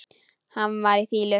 Hann var í fýlu.